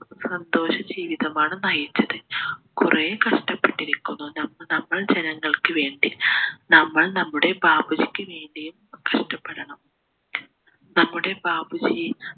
സന്തോഷ ജീവിതമാണ് നയിച്ചത് കുറേ കഷ്ടപെട്ടിരിക്കുന്നു നമ്മ നമ്മൾ ജനങ്ങൾക്കുവേണ്ടി നമ്മൾ നമ്മുടെ ബാപ്പുജീക്ക് വേണ്ടിയും കഷ്ടപ്പെടണം നമ്മുടെ ബാപ്പുജി